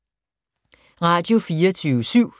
Radio24syv